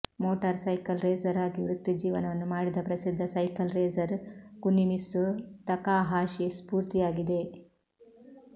motor cycle racer ಆಗಿ ವೃತ್ತಿಜೀವನವನ್ನು ಮಾಡಿದ ಪ್ರಸಿದ್ಧ ಸೈಕಲ್ ರೇಸರ್ ಕುನಿಮಿತ್ಸು ತಕಾಹಾಶಿ ಸ್ಫೂರ್ತಿಯಾಗಿದೆ